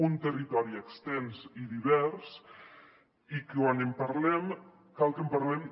un territori extens i divers i quan en parlem cal que en parlem